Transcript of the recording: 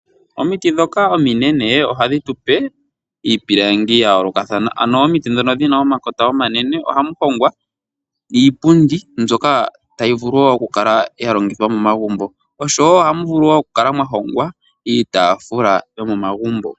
Omiti ndhoka ominene, oha dhi tu pe iipilangibya yoolokathana. Ano omiti ndhoka dhina omakota omanene, oga mu hongwa iipundi mbyoka ta yi vulu wo okuvkala ya longithwa momagumbo, osho woo ohamu vuluvoku kala mwa hongwa iitafula yomomagumbo.